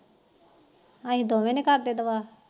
ਅਸੀ ਦੋਵੇ ਨੀ ਕਰਦੇ ਦੁਆ